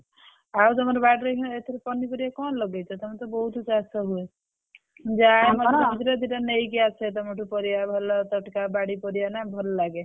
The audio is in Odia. ଆଉ ତମର ବାଡିରେ ଏଥର ପନିପରିବା କଣ ଲଗେଇଛ ତମର ତ ବହୁତ ଚାଷ ହୁଏ ଯାଏ ମନ୍ଦିର ଦି ଟା ନେଇକି ଆସେ ତମଠୁ ପରିବା ଭଲ ତଟକା ବାରି ପରିବା ନା ଭଲ ଲାଗେ।